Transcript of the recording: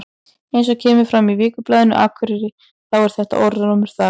Eins og kemur fram í Vikublaðinu Akureyri þá er þetta orðrómur þar.